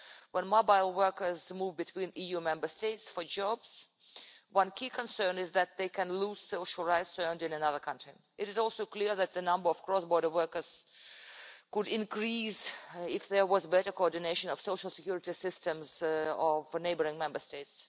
When mobile workers move between EU Member States for jobs, one key concern is that they can lose social rights earned in another country. It is also clear that the number of cross border workers could increase if there was better coordination of social security systems between neighbouring Member States.